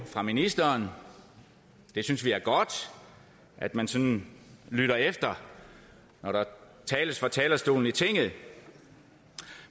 fra ministeren vi synes det er godt at man sådan lytter efter når der tales fra talerstolen i tinget